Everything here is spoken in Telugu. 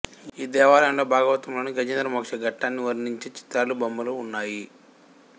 ఈ దేవాలయంలో భాగవతంలోని గజేంద్ర మోక్ష ఘట్టాన్ని వర్ణించే చిత్రాలు బొమ్మలు ఉన్నాయి